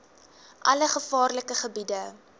alle gevaarlike gebiede